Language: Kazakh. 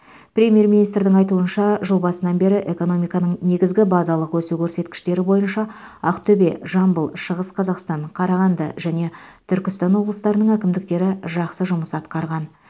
премьер министрдің айтуынша жыл басынан бері экономиканың негізгі базалық өсу көрсеткіштері бойынша ақтөбе жамбыл шығыс қазақстан қарағанды және түркістан облыстарының әкімдіктері жақсы жұмыс атқарған